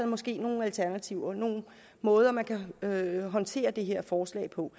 måske er nogle alternativer nogle måder man kan håndtere det her forslag på